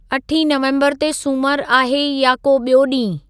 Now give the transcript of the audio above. अठीं नवंबरु ते सुमरु आहे या को ॿियो ॾींहुं